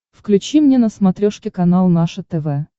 включи мне на смотрешке канал наше тв